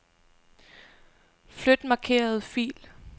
Flyt markerede fil.